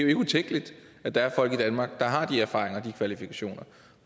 ikke utænkeligt at der er folk i danmark der har de erfaringer og de kvalifikationer